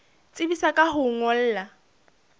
tsebisa ka ho o ngolla